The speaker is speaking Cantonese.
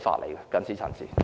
我謹此陳辭。